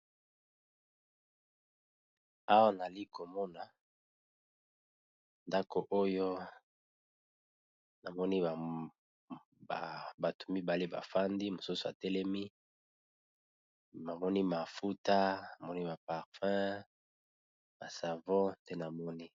Awa nali komona ndako oyo na moni bato mibale bafandi mosusu atelemi mamoni ma futa mamoni ma parfum ba savo te namoni.